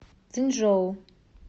цзинчжоу